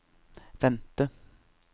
vente